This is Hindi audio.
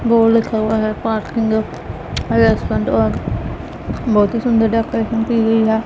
बोर्ड लिखा हुआ है पार्किंग है रेस्टोरेंट और बहोत ही सुंदर डेकोरेशन की गई है।